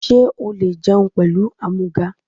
Sé o le jẹun pẹ̀lú ámúgà?